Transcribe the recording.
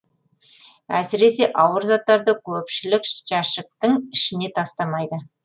әсіресе ауыр заттарды көпшілік жәшіктің ішіне тастамайды